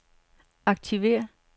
aktiver